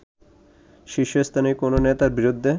শীর্ষস্থানীয় কোন নেতার বিরেুদ্ধে